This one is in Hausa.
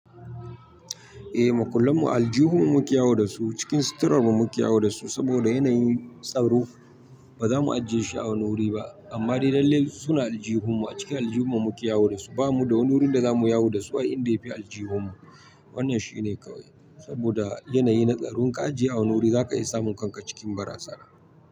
Eh, makullan mu aljihun mu muke yawo da su, cikin sitarar mu muke yawo da su saboda yana yin, tsaro. Ba za mu ajiye shi a wani wuri ba, amma dai lallai su na aljihun mu, a cikin aljihun mu muke yawo da su. Ba mu da wani wurin da za mu yawo da su a inda ya fi aljihun mu. Wannan shi ne kawai, saboda yana yi na tsaron ka ajiye a wani wuri za ka iya samun kan ka cikin baraza na.